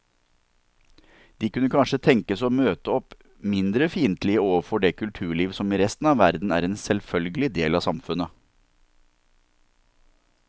De kunne kanskje tenkes å møte opp mindre fiendtlige overfor det kulturliv som i resten av verden er en selvfølgelig del av samfunnet.